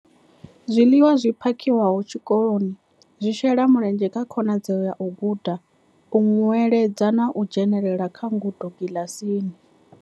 Zwiḽiwa zwi phakhiwaho tshikoloni zwi shela mulenzhe kha khonadzeo ya u guda, u nweledza na u dzhenela kha ngudo kiḽasini.